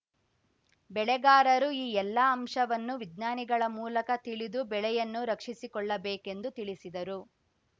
ಬೆಳೆಗಾರರು ಈ ಎಲ್ಲ ಅಂಶವನ್ನು ವಿಜ್ಞಾನಿಗಳ ಮೂಲಕ ತಿಳಿದು ಬೆಳೆಯನ್ನು ರಕ್ಷಿಸಿಕೊಳ್ಳಬೇಕೆಂದು ತಿಳಿಸಿದರು